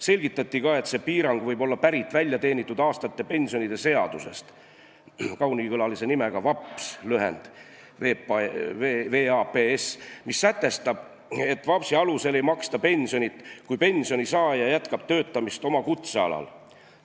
Selgitati, et selline piirang võib olla pärit väljateenitud aastate pensionide seadusest , mis sätestab, et VAPS-i alusel ei maksta pensioni, kui pensionisaaja jätkab töötamist oma kutsealal.